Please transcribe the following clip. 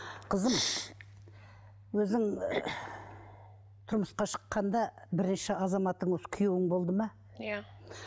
қызым өзің тұрмысқа шыққанда бірінші азаматың осы күйеуің болды ма иә